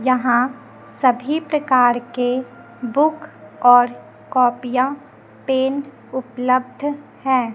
यहां सभी प्रकार के बुक और कॉपिया पेन उपलब्ध है।